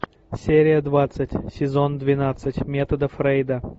серия двадцать сезон двенадцать метода фрейда